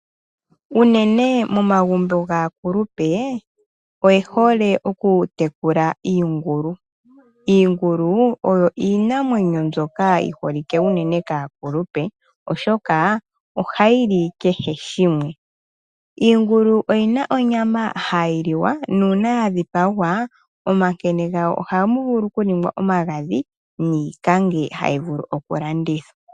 Uunene momagumbo gaakulupe oyehole oku tekula iingulu. Iingulu oyi iinamwenyo mbyoka yi holike uunene kaakulupe oshoka ohayi li kehe shimwe. Iingulu oyina onyama hayi liwa, nuuna ya dhipagwa omankene gawo ohaga vulu okuningwa omagadhi niikange hayi vulu oku landithwa.